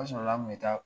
O sɔrɔla an kun bɛ taa